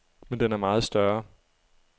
Men den er meget større.